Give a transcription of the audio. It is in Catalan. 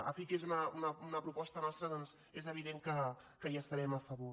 en fi que és una proposta nostra i és evident que hi estarem a favor